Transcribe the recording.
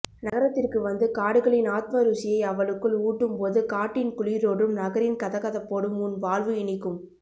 நகரத்திற்கு வந்து காடுகளின் ஆத்ம ருசியை அவளுக்குள் ஊட்டும் போது காட்டின் குளிரோடும் நகரின் கதகதப்போடும் உன் வாழ்வு இனிக்கும்